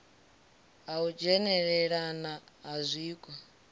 ha u dzhenelelana ha zwiko